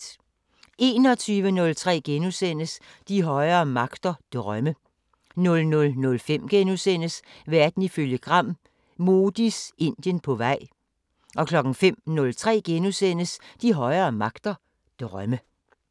21:03: De højere magter: Drømme * 00:05: Verden ifølge Gram: Modis Indien på vej * 05:03: De højere magter: Drømme *